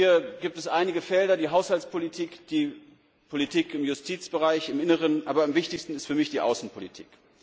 Hier gibt es einige Felder die Haushaltspolitik, die Politik im Justizbereich, im Inneren aber am wichtigsten ist für mich die Außenpolitik.